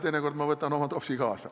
Teinekord võtan oma topsi kaasa.